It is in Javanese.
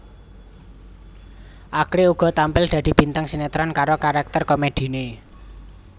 Akri uga tampil dadi bintang sinetron karo karakter komediné